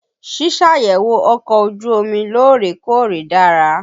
Ṣíṣàyẹ̀wò ọkọ̀ ojú omi lóòrè-kóòrè dára.